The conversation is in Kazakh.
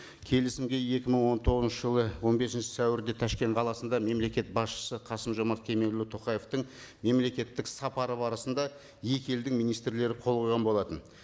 келісімге екі мың он тоғызыншы жылы он бесінші сәуірде ташкент қаласында мемлекет басшысы қасым жомарт кемелұлы тоқаевтың мемлекеттік сапары барысында екі елдің министрлері қол қойған болатын